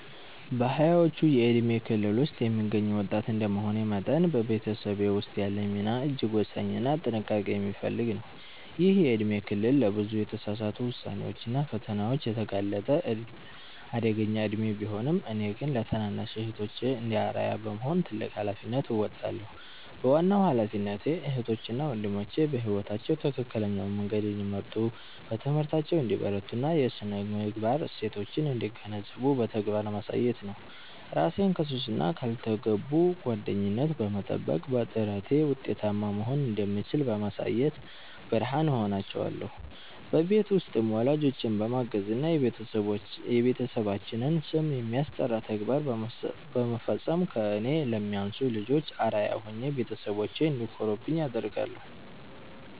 በሃያዎቹ የእድሜ ክልል ውስጥ የምገኝ ወጣት እንደመሆኔ መጠን፤ በቤተሰቤ ውስጥ ያለኝ ሚና እጅግ ወሳኝና ጥንቃቄ የሚፈልግ ነው። ይህ የእድሜ ክልል ለብዙ የተሳሳቱ ውሳኔዎችና ፈተናዎች የተጋለጠ አደገኛ እድሜ ቢሆንም፤ እኔ ግን ለታናናሽ እህቶቼ እንደ አርአያ በመሆን ትልቅ ኃላፊነት እወጣለሁ። ዋናው ኃላፊነቴ እህቶቼ እና ወንድሞቼ በሕይወታቸው ትክክለኛውን መንገድ እንዲመርጡ፣ በትምህርታቸው እንዲበረቱና የሥነ-ምግባር እሴቶችን እንዲገነዘቡ በተግባር ማሳየት ነው። እራሴን ከሱስና ካልተገቡ ጓደኝነት በመጠበቅ፤ በጥረቴ ውጤታማ መሆን እንደምችል በማሳየት ብርሃን እሆናቸዋለሁ። በቤት ውስጥም ወላጆቼን በማገዝና የቤተሰባችንን ስም የሚያስጠራ ተግባር በመፈጸም ከእኔ ለሚያንሱ ልጆች አርአያ ሆኜ ቤተሰቦቼ እንዲኮሩብኝ አደርጋለሁ።